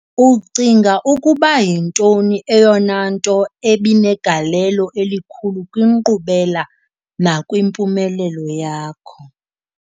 Ucinga ukuba yintoni eyona nto ebinegalelo elikhulu kwinkqubela nakwimpumelelo yakho?